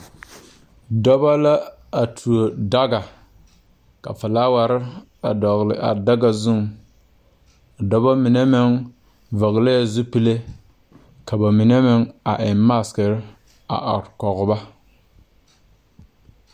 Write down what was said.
Dɔbɔ la a tuo daga ka flaawarre dɔgle a daga zuŋ a dɔbɔ mine meŋ vɔglɛɛ zupile ka ba mine meŋ a eŋ. maakirre a are kɔge ba.